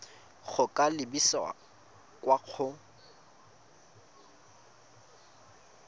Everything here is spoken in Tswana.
go ka lebisa kwa go